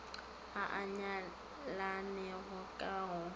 a a nyalanego ka go